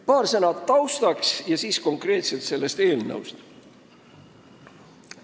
Paar sõna taustaks ja siis konkreetselt sellest eelnõust.